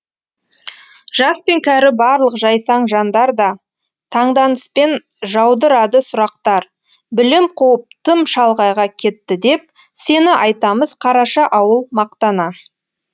жас пен кәрі барлық жайсаң жандар да таңданыспен жаудырады сұрақтар білім қуып тым шалғайға кетті деп сені айтамыз қараша ауыл мақтана